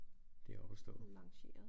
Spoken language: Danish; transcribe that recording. Det op at stå